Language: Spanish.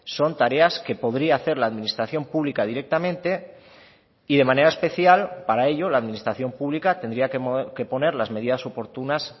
son tareas que podría hacer la administración pública directamente y de manera especial para ello la administración pública tendría que poner las medidas oportunas